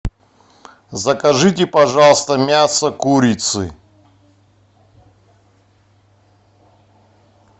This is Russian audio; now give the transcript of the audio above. закажите пожалуйста мясо курицы